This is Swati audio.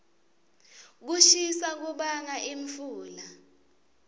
kushisa kubanga imfula